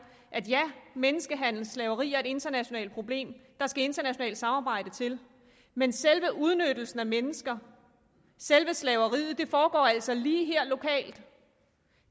at menneskehandel og slaveri er et internationalt problem der skal internationalt samarbejde til men selve udnyttelsen af mennesker selve slaveriet foregår altså lige her lokalt